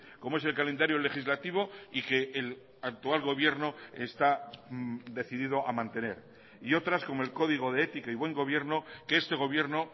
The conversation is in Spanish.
como es el calendario legislativo y que el actual gobierno está decidido a mantener y otras como el código de ética y buen gobierno que este gobierno